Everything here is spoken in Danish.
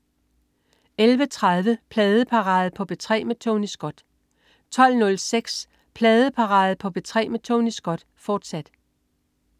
11.30 Pladeparade på P3 med Tony Scott 12.06 Pladeparade på P3 med Tony Scott, fortsat